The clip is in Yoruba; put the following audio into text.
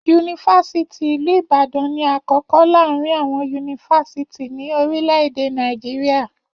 Yunifásítì ìlú Ìbàdàn ní akọkọ láàrin àwọn yunifásítì ní orílẹ̀-èdè Nàìjíríà.